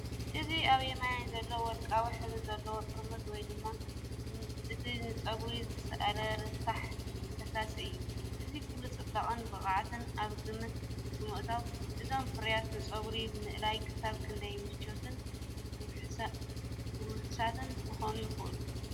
እዚ ኣብ የማን ዘሎ ወርቃዊ ሕብሪ ዘለዎ ጥርሙዝ ወይ ድማ እቲ ንጸጉሪ ዝእለ ረሳሕ ፈሳሲ እዩ። እዚ ኩሉ ጽባቐን ብቕዓትን ኣብ ግምት ብምእታው፡ እዞም ፍርያት ንጸጉሪ ምእላይ ክሳብ ክንደይ ምቹኣትን ውሑሳትን ክኾኑ ይኽእሉ?